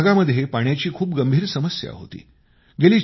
आमच्या भागामध्ये पाण्याची खूप गंभीर समस्या होती